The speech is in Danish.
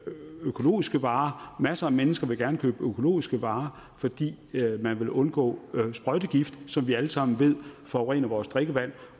økologiske varer masser af mennesker vil gerne købe økologiske varer fordi man vil undgå sprøjtegift som vi alle sammen ved forurener vores drikkevand